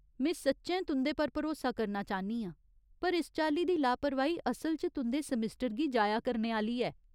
में सच्चैं तुं'दे पर भरोसा करना चाह्न्नी आं, पर इस चाल्ली दी लापरवाही असल च तुं'दे सेमेस्टर गी जाया करने आह्‌ली ऐ।